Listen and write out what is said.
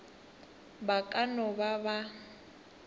ba ka no ba ba